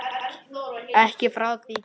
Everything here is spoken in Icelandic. Ekki frá því kyn